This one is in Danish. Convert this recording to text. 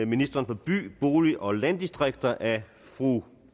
ministeren for by bolig og landdistrikter af fru